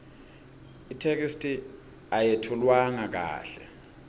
itheksthi ayetfulwanga kahle